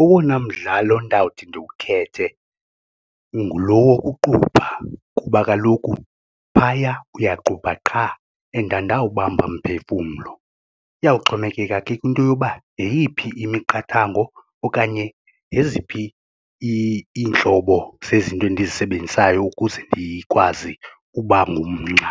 Owona mdlalo ndawuthi ndiwukhethe ngulo wokuqubha kuba kaloku phaya uyaqubha qha and andinawubamba mphefumlo, iyawuxhomekeka ke kwinto yoba yeyiphi imiqathango okanye zeziphi iintlobo zezinto endizisebenzisayo ukuze ndikwazi uba ngumnxa.